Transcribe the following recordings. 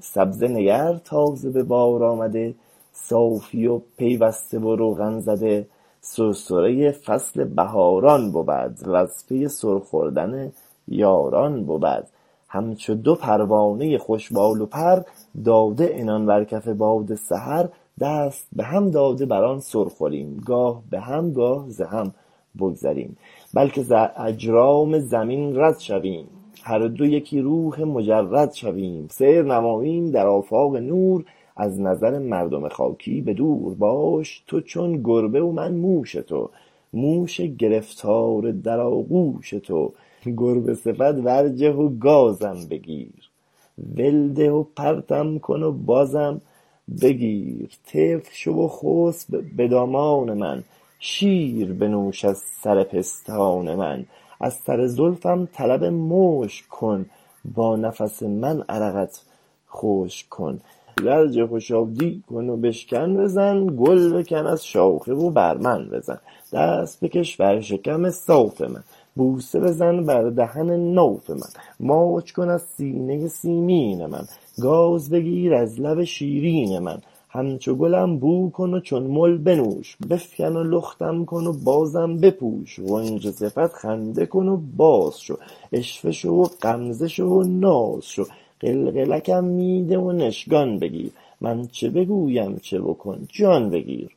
سبزه نگر تازه به بار آمده صافی و پیوسته و روغن زده سرسرۀ فصل بهاران بود وز پی سر خوردن یاران بود همچو دو پروانۀ خوش بال و پر داده عنان بر کف باد سحر دست به هم داده بر آن سر خوریم گاه به هم گاه ز هم بگذریم بلکه ز اجرام زمین رد شویم هر دو یکی روح مجرد شویم سیر نماییم در آفاق نور از نظر مردم خاکی به دور باش تو چون گربه و من موش تو موش گرفتار در آغوش تو گربه صفت ورجه و گازم بگیر ول ده و پرتم کن و بازم بگیر طفل شو و خسب به دامان من شیر بنوش از سر پستان من از سر زلفم طلب مشک کن با نفس من عرقت خشک کن ورجه و شادی کن و بشکن بزن گل بکن از شاخه و بر من بزن دست بکش بر شکم صاف من بوسه بزن بر دهن ناف من ماچ کن از سینۀ سیمین من گاز بگیر از لب شیرین من همچو کلم بو کن و چون مل بنوش بفکن و لختم کن و بازم بپوش غنچه صفت خنده کن و باز شو عشوه شو و غمزه شو و ناز شو قلقلکم می ده و نشکان بگیر من چه بگویم چه بکن جان بگیر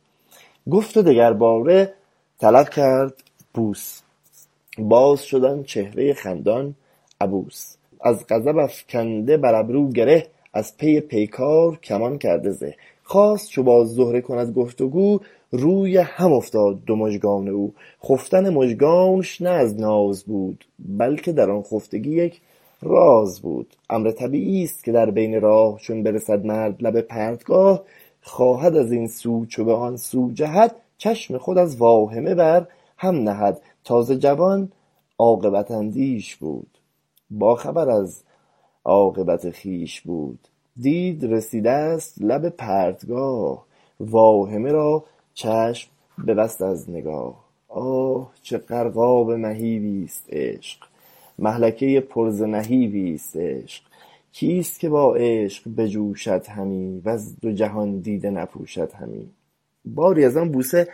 گفت و دگر باره طلب کرد بوس باز شد آن چهرۀ خندان عبوس از غضب افکنده بر ابرو گره از پی پیکار کمان کرده زه خواست چو با زهره کند گفتگو روی هم افتاد دو مژگان او خفتن مژگانش نه از ناز بود بلکه در آن خفتگی یک راز بود امر طبیعی است که در بین راه چون برسد مرد لب پرتگاه خواهد از این سو چو به آن سو جهد چشم خود از واهمه بر هم نهد تازه جوان عاقبت اندیش بود با خبر از عاقبت خویش بود دید رسیدست لب پرتگاه واهمه از چشم ببست از نگاه آه چه خو خلب مهیبی است عشق مهلکۀ پر ز نهیبی است عشق کیست که با عشق بچوشد همی وز دو جهان دیده نپوشد همی باری از آن بوسه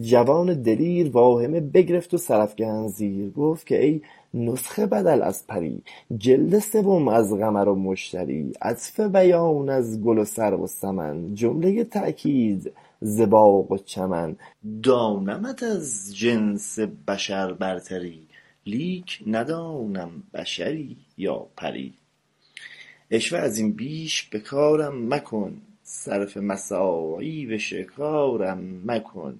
جوان دلیر واهمه بگرفت و سرافکند زیر گفت که ای نسخه بدل از پری جلد سوم از قمر و مشتری عطف بیان از گل و سرو و سمن جملۀ تأکید ز باغ و چمن دانمت از جنس بشر برتری لیک ندانم بشری یا پری عشوه از این بیش به کارم مکن صرف مساعی به شکارم مکن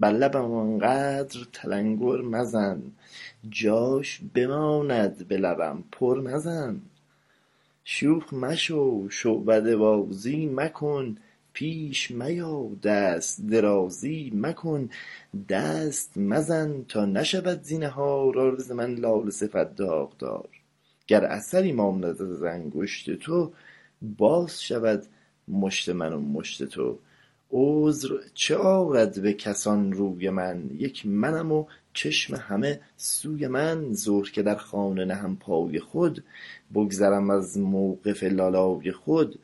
بر لبم آنقدر تلنگر مزن جاش بماند به لبم پر مزن شوخ مشو شعبده بازی مکن پیش میا دست درازی مکن دست مزن تا نشود زینهار عارض من لاله صفت داغدار گر اثری ماند از انگشت تو باز شود مشت من و مشت تو عذر چه آرد به کسان روی من یک منم و چشم همه سوی من ظهر که در خانه نهم پای خود بگذرم از موقف لالای خود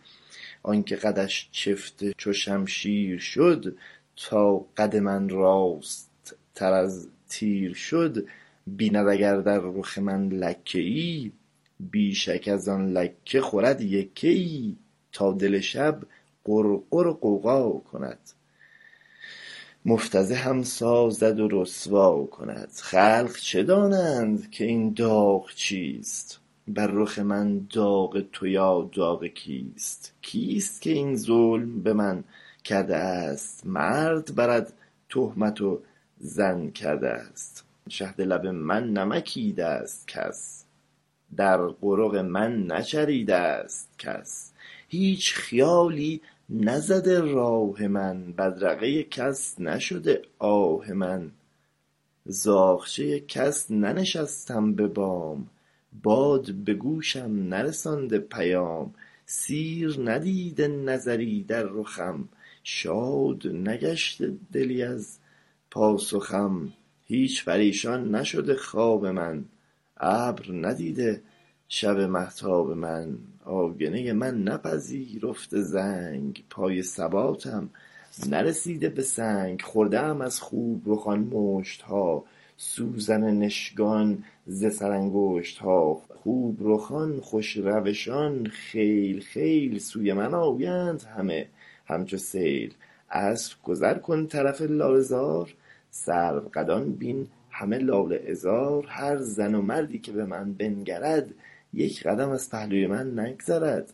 آن که قدش چفته چو شمشیر شد تا قد من راست تر از تیر شد بیند اگر در رخ من لکه ای بی شک از آن لکه خورد یکه ای تا دل شب غرغر و غوغا کند مغتنمم سازد و رسوا کند خلق چه دانند که این داغ چیست بر رخ من داغ تو یا داغ کیست کیست که این ظلم به من کرده است مرد برد تهمت و زن کرده است شهد لب من نمکیده است کس در قرق من نچریده است کس هیچ خیالی نزده راه من بدرقه کس نشده آه من زاغچه کس ننشستم به بام باد به گوشم نرسانده پیام سیر ندیده نظری در رخم شاد نگشته دلی از پاسخم هیچ پریشان نشده خواب من ابر ندیده شب مهتاب من آینۀ من نپذیرفته رنگ پای نباتم نرسیده به سنگ خورده ام از خوب رخان مشت ها سوزن نشکان ز سر انگشت ها خوب رخان خوش روشان خیل خیل سوی من آیند همه همچو سیل عصر گذر کن طرف لاله زار سرو قدان بین همه لاله عذار هر زن و مردی که به من بنگرد یک قدم از پهلوی من نگذرد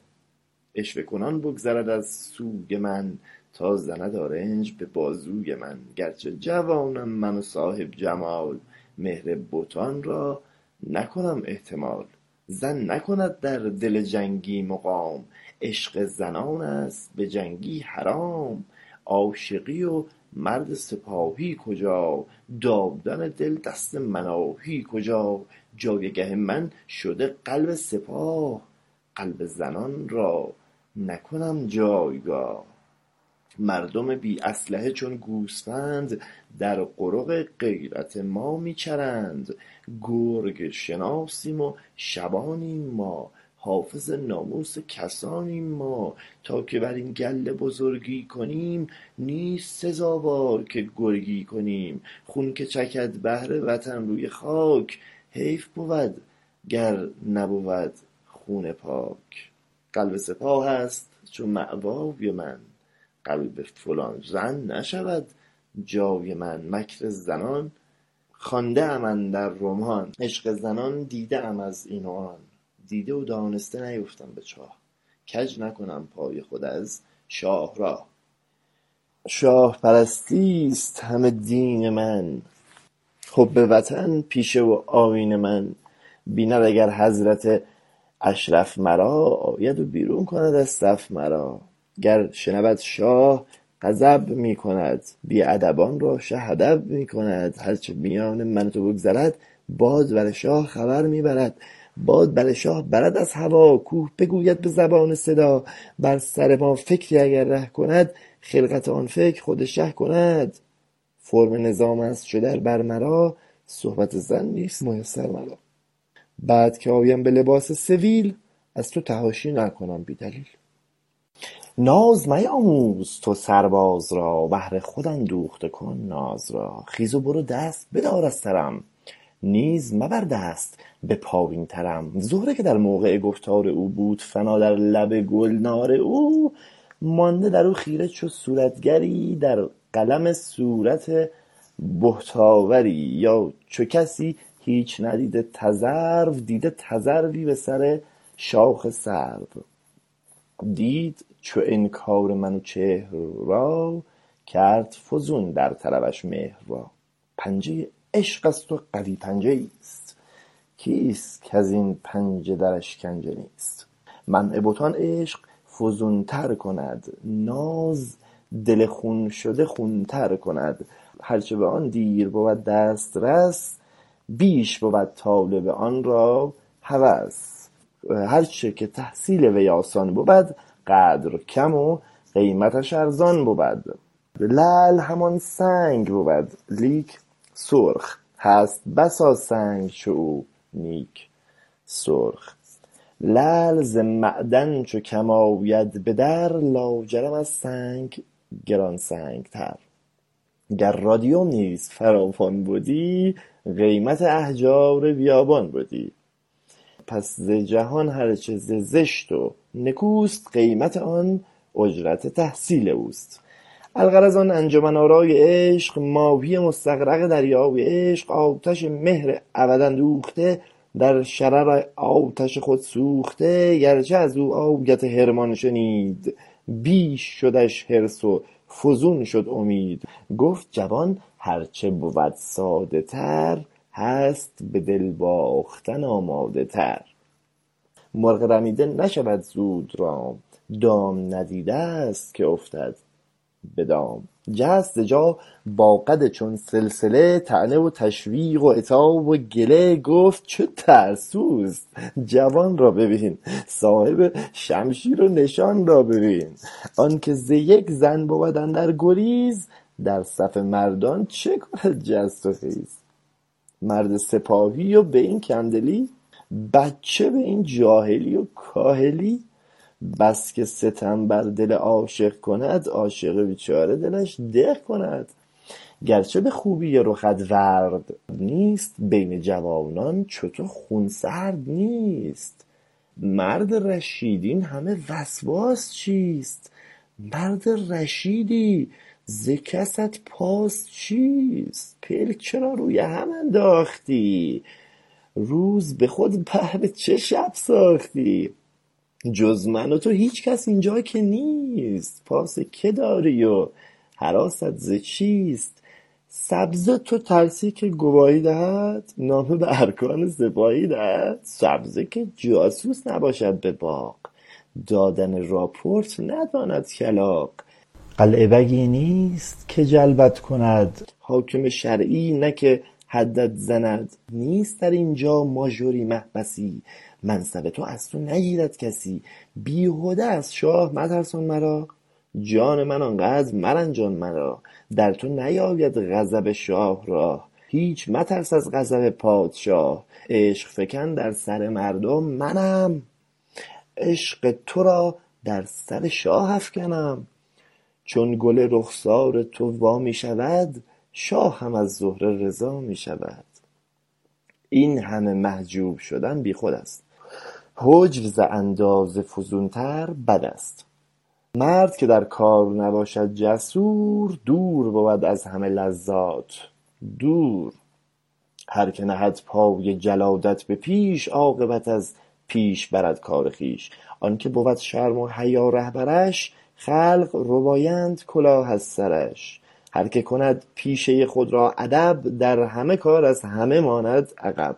عشوه کنان بگذرد از سوی من تا زند آرنج به بازوی من گرچه جوانم من و صاحب جمال مهر بتان را نکنم احتمال زن نکند در دل جنگی مقام عشق زنان است به جنگی حرام عاشقی و مرد سپاهی کجا دادن دل دست مناهی کجا جایگه من شده قلب سپاه قلب زنان را نکنم جایگاه مردم بی اسلحه چون گوسفند در قرق غیرت ما می چرند گرگ شناسیم و شبانیم ما حافظ ناموس کسانیم ما تا که بر این گله بزرگی کنیم نیست سزاوار که گرگی کنیم خون که چکد بهر وطن روی خاک حیف بود گر نبود خون پاک قلب سپاه است چو مأوای من قلب فلان زن نشود جای من مکر زنان خوانده ام اندر رمان عشق زنان دیده ام از این و آن دیده و دانسته نیفتم به چاه کج نکنم پای خود از شاهراه شاه پرستی است همه دین من حب وطن پیشه و آیین من بیند اگر حضرت اشرف مرا آید و بیرون کند از صف مرا گر شنود شاه غضب می کند بی ادبان را شه ادب می کند هر چه میان من و تو بگذرد باد بر شاه خبر می برد باد بر شاه برد از هوا کوه بگوید به زبان صدا بر سر ما فکری اگر ره کند خلقت آن فکر خود شه کند فرم نظام است چو در بر مرا صحبت زن نیست میسر مرا بعد که آیم به لباس سویل از تو تحاشی نکنم بی دلیل ناز نیاموز تو سرباز را بهر خود اندوخته کن ناز را خیز و برو دست بدار از سرم نیز مبر دست به پایین ترم زهره که در موقع گفتار او بود فنا در لب گلنار او مانده در او خیره چو صورتگری در قلم صورت بهت آوری یا چو کسی هیچ ندیده تذرو دیده تذروی به سر شاخ سرو دید چو انکار منوچهر را کرد فزون در طلبش مهر را پنجه عشقست و قوی پنجه ایست کیست کز این پنجه در اشکنجه نیست منع بتان عشق فزون تر کند ناز دل خون شده خون تر کند هر چه به آن دیر بود دست رس بیش بود طالب آن را هوس هرچه که تحصیل وی آسان بود قدر کم و قیمتش ارزان بود لعل همان سنگ بود لیک سرخ هست بسا سنگ چو او نیک سرخ لعل ز معدن چو کم آید به در لاجرم از سنگ گران سنگ تر گر رادیوم نیز فراوان بدی قیمت احجار بیابان بدی الغرض آن انجمن آرای عشق ماهی مستغرق دریای عشق آتش مهر ابد اندوخته در شرر آتش خود سوخته گرچه از او آیت حرمان شنید بیش شدش حرص و فزون شد امید گفت جوان هر چه بود ساده تر هست به دل باختن آماده تر مرغ رمیده نشود زود رام دام ندیده است که افتد به دام جست ز جا با قد چون سلسله طعنه و تشویق و عتاب و گله گفت چه ترسوست جوان را ببین صاحب شمشیر و نشان را ببین آن که ز یک زن بود اندر گریز در صف مردان چه کند جست و خیز مرد سپاهی و به این کم دلی بچه به این جاهلی و کاهلی بسکه ستم بر دل عاشق کند عاشق بیچاره دلش دق کند گرچه به خوبی رخت ورد نیست بین جوانان چو تو خونسرد نیست مرد رشید اینهمه وسواس چیست مرد رشیدی ز کست پاس چیست پلک چرا روی هم انداختی روز به خود بهر چه شب ساختی جز من و تو هیچ کس اینجا که نیست پاس که داری و هراست ز چیست سبزه تو ترسی که گواهی دهد نامه به ارکان سپاهی دهد سبزه که جاسوس نباشد به باغ دادن راپورت نداند کلاغ قلعه بگی نیست که جلبت کند حاکم شرعی نه که حدت زند نیست در اینجا ماژری محبسی منصب تو از تو نگیرد کسی بیهده از شاه مترسان مرا جان من آن قدر مرنجان مرا در تو نیابد غضب شاه راه هیچ مترس از غضب پادشاه عشق فکن در سر مردم منم عشق ترا در سر شاه افکنم چون گل رخسار تو وا می شود شاه هم از زهره رضا می شود این همه محجوب شدن بیخود است حجب ز اندازه فزون تر بد است مرد که در کار نباشد جسور دور بود از همه لذات دور هر که نهند پای جلادت به پیش عاقبت از پیش برد کار خویش آن که بود شرم و حیا رهبرش خلق ربایند کلاه از سرش هر که کند پیشۀ خود را ادب در همه کار از همه ماند عقب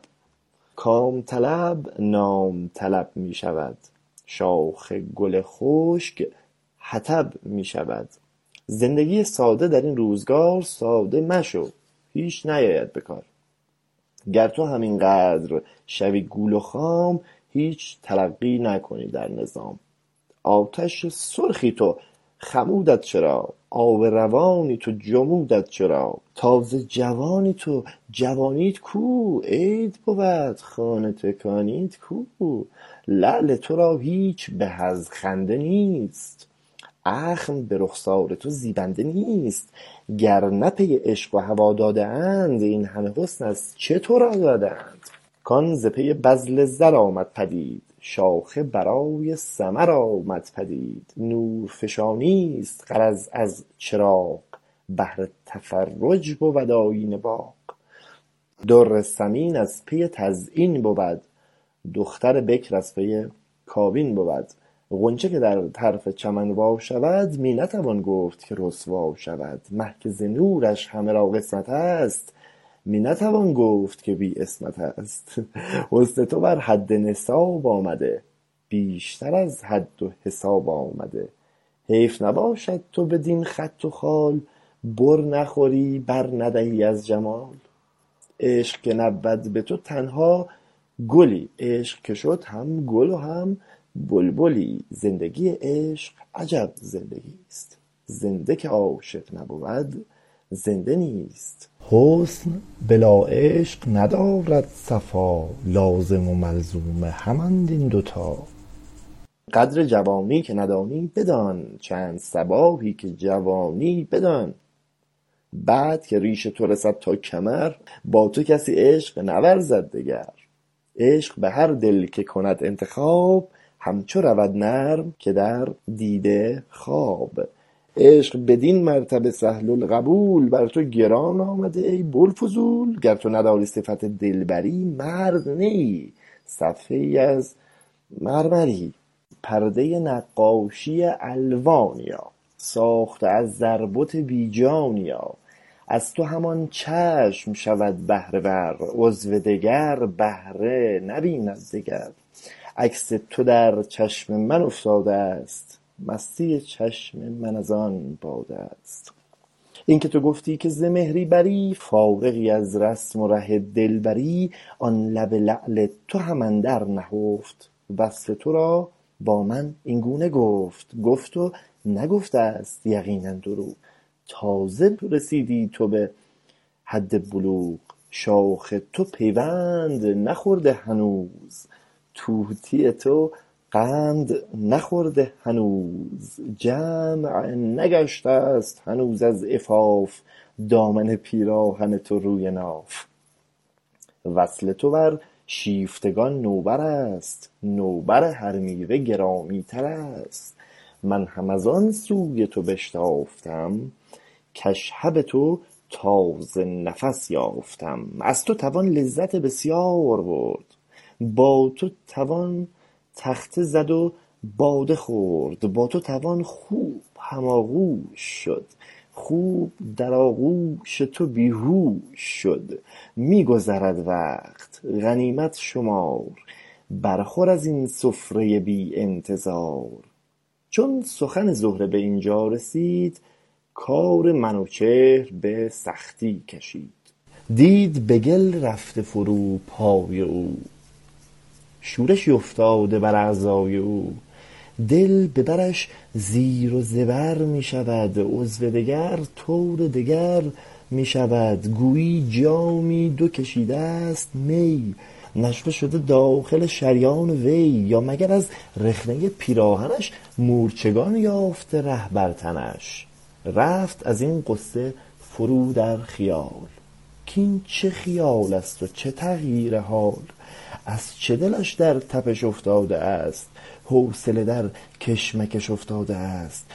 کام طلب نام طلب می شود شاخ گل خشک خطب می شود زندگی ساده در این روزگار ساده مشو هیچ نیاید به کار گر تو هم این قدر شوی گول و خام هیچ ترقی نکنی در نظام آتش سرخی تو خمودت چرا آب روانی تو جمودت چرا تازه جوانی تو جوانیت کو عید بود خانه تکانیت کو لعل ترا هیچ به از خنده نیست اخم به رخسار تو زیبنده نیست گر نه پی عشق و هوا داده اند این همه حسن از چه ترا داده اند کان ز پی بذل زر آمد پدید شاخه برای ثمر آمد پدید نور فشانی است غرض از چراغ بهر تفرج بود آیین باغ در ثمین از پی تزیین بود دختر بکر از پی کابین بود غنچه که در طرف چمن وا شود می نتوان گفت که رسوا شود مه که ز نورش همه را قسمتست می نتوان گفت که بی عصمتست حسن تو بر حد نصاب آمده بیشتر از حد و حساب آمده حیف نباشد تو بدین خط و خال بر نخوری بر ندهی از جمال عشق که نبود به تو تنها گلی عشق که شد هم گل و هم بلبلی زندگی عشق عجب زندگیست زنده که عاشق نبود زنده نیست حسن بلا عشق ندارد صفا لازم و ملزوم همند این دو تا قدر جوانی که ندانی بدان چند صباحی که جوانی بدان بعد که ریش تو رسد تا کمر با تو کسی عشق نورزد دگر عشق به هر دل که کند انتخاب همچو رود نرم که در دیده خواب عشق بدین مرتبه سهل القبول بر تو گران آمده ای بوالفضول گر تو نداری صفت دلبری مرد نی ای صفحه ای از مرمری پردۀ نقاشی الوانیا ساخته از زر بت بی جانیا از تو همان چشم شود بهره ور عضو دگر بهره نبیند دگر عکس تو در چشم من افتاده است مستی چشم من از آن باده است این که تو گفتی که ز مهری بری فارغی از رسم و ره دلبری آن لب لعل تو هم اندر نهفت وصف ترا با من این گونه گفت گفت و نگفته است یقینا دروغ تازه رسیدی تو به حد بلوغ شاخ تو پیوند نخورده هنوز طوطی تو قند نخورده هنوز جمع نگشته ست هنوز از عفاف دامن پیراهن تو روی ناف وصل تو بر شیفتگان نوبر است نوبر هر میوه گرامی تر است من هم از آن سوی تو بشتافتم کاشهب تو تازه نفس یافتم از تو توان لذت بسیار برد با تو توان تخته زد و باده خورد با تو توان خوب هم آغوش شد خوب در آغوش تو بی هوش شد می گذرد وقت غنیمت شمار بر خور از این سفرۀ بی انتظار چون سخن زهره به این جا رسید کار منوچهر به سختی کشید دید به گل رفته فرو پای او شورشی افتاده بر اعضای او دل به برش زیر و زبر می شود عضو دگر طور دگر می شود گویی جامی در کشیده است می نشوه شده داخل شریان وی یا مگر از رخنۀ پیراهنش مورچگان یافته ره بر تنش رفت از این غصه فرو در خیال کاین چه خیالست و چه تغییر حال از چه دلش در تپش افتاده است حوصله در کشمکش افتاده است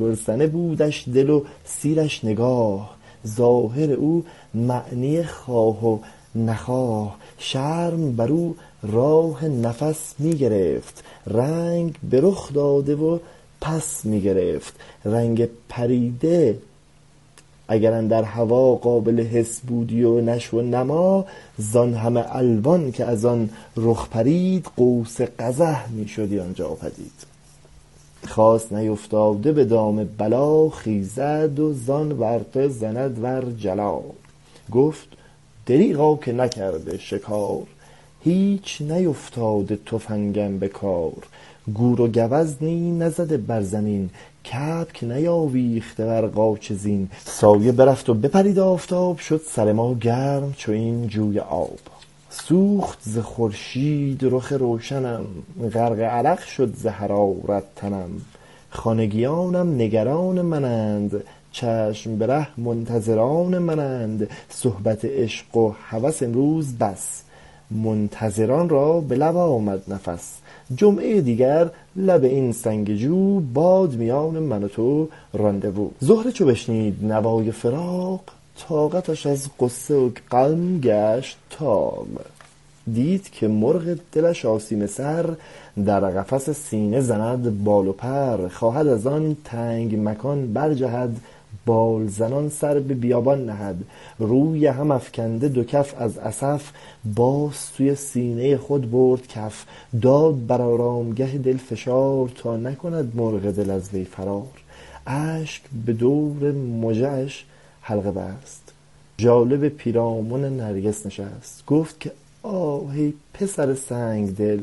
گرسنه بودش دل و سیرش نگاه ظاهر او معنی خواه و نخواه شرم بر او راه نفس می گرفت رنگ به رخ داده و پس می گرفت رنگ پریده اگر اندر هوا قابل حس بودی و نشو و نما زان همه الوان که از آن رخ پرید قوس قزح می شدی آن جا پدید خواست نیفتاده به دام بلا خیزد و زان ورطه زند ور حلا گفت دریغا که نکرده شکار هیچ نیفتاده تفنگم به کار گور و گوزنی نزده بر زمین کبک نیاویخته بر قاچ زین سایه برفت و بپرید آفتاب شد سر ما گرم چو این جوی آب سوخت ز خورشید رخ روشنم غرق عرق شد ز حرارت تنم خانگیانم نگران منند چشم به ره منتظران منند صحبت عشق و هوس امروز بس منتظران را به لب آمد نفس جمعۀ دیگر لب این سنگ جو باد میان من و تو رانده وو زهره چو بشنید نوای فراق طاقتش از غصه و غم گشت طاق دید که مرغ دل آسیمه سر در قفس سینه زند بال و پر خواهد از آن تنگ مکان برجهد بال زنان سر به بیابان نهد روی هم افکند دو کف از اسف باز سوی سینۀ خود برد کف داد بر آرامگه دل فشار تا نکند مرغ دل از وی فرار اشک به دور مژه اش حلقه بست ژاله به پیراهن نرگس نشست گفت که آه ای پسر سنگ دل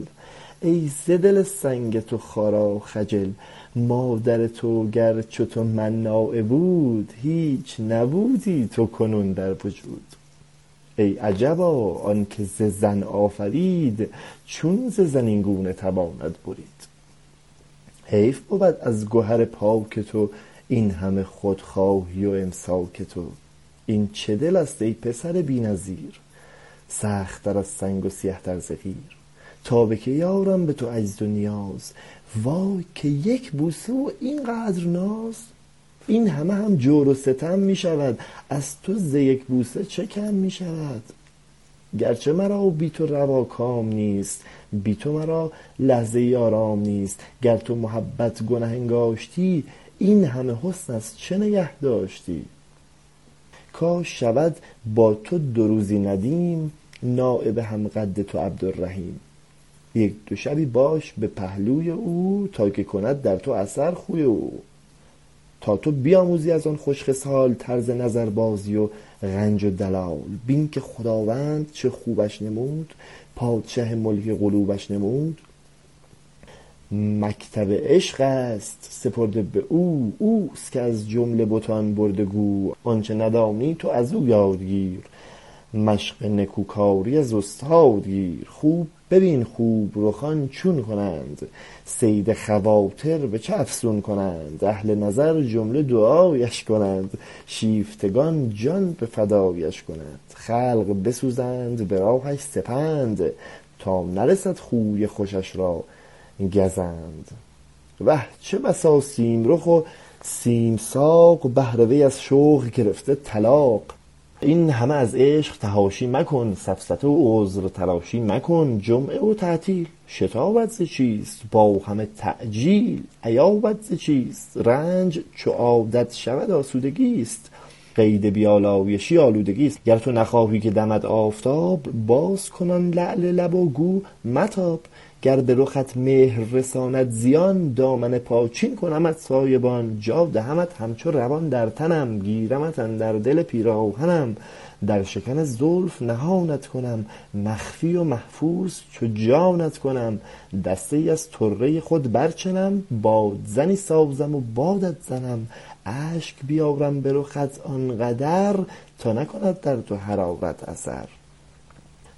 ای ز دل سنگ تو خارا خجل مادر تو گر چو تو مناعه بود هیچ نبودی تو کنون در وجود ای عجبا آن که ز زن آفرید چون ز زن این گونه تواند برید حیف بود از گهر پاک تو این همه خودخواهی و امساک تو این چه دلست ای پسر بی نظیر سخت تر از سنگ و سیه تر ز قیر تا به کی آرم به تو عجز و نیاز وای که یک بوسه و این قدر ناز این همه هم جور و ستم می شود از تو ز یک بوسه چه کم می شود گرچه مرا بی تو روا کام نیست بی تو مرا لحظه ای آرام نیست گر تو محبت گنه انگاشتی این همه حسن از چه نگه داشتی کاش شود با تو دو روزی ندیم نایب هم قد تو عبدالرحیم یک دو شبی باش به پهلوی او تا که کند در تو اثر خوی او تا تو بیاموزی از آن خوش خصال طرز نظر بازی و غنج و دلال بین که خداوند چه خوبش نمود پادشه ملک قلوبش نمود مکتب عشق است سپرده به او اوست که از جمله بتان برده گو آنچه ندانی تو ازو یاد گیر مشق نکو کاری از استاد گیر خوب ببین خوب رخان چون کنند صید خواطر به چه افسون کنند اهل نظر جمله دعایش کنند شیفتگان جان به فدایش کنند خلق بسوزند به راهش سپند تا نرسد خوی خوشش را گزند وه چه بسا سیم رخ و سیم ساق بهر وی از شوی گرفته طلاق این همه از عشق فحاشی مکن سفسطه و عذرتراشی مکن جمعه و تعطیل شتابت ز چیست با همه تعجیل ایابت ز چیست رنج چو عادت شود آسودگیست قید بی آلایشی آلودگیست گر تو نخواهی که دمد آفتاب باز کن آن لعل لب و گو متاب گر به رخت مهر رساند زیان دامن پاچین کنمت سایبان جا دهمت همچو روان در تنم گیرمت اندر دل پیراهنم در شکن زلف نهانت کنم مخفی و محفوظ چو جانت کنم دسته ای از طره خود بر چنم بادزنی سازم و بادت زنم اشک ببارم به رخت آن قدر تا نکند در تو حرارت اثر